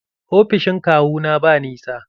Ofishin kawu na ba nisa.